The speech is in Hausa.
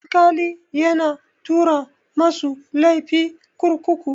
Alkali yana tura masu laifi kurkuku.